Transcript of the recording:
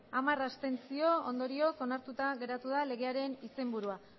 hamar abstentzio ondorioz onartuta geratu da legearen izenburua